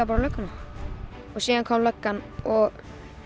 bara á lögguna og síðan kom löggan og